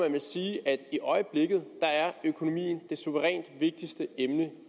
sige at i øjeblikket er økonomien det suverænt vigtigste emne